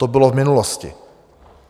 To bylo v minulosti.